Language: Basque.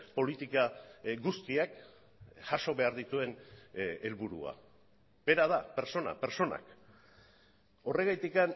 politika guztiak jaso behar dituen helburua bera da pertsona pertsonak horregatik